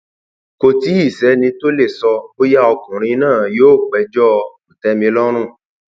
kò tí ì sẹni tó lè sọ bóyá ọkùnrin náà yóò péjọ kòtẹmilọrùn